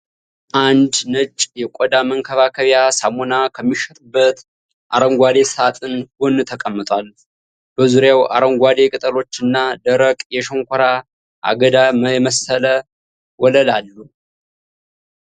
አንድ ነጭ የቆዳ መንከባከቢያ ሳሙና ከሚሸጥበት አረንጓዴ ሳጥን ጎን ተቀምጧል። በዙሪያው አረንጓዴ ቅጠሎች እና ደረቅ የሸንኮራ አገዳ የመሰለ ወለል አሉ።